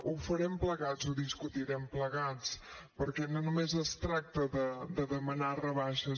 ho farem plegats ho discutirem plegats perquè no només es tracta de demanar rebaixes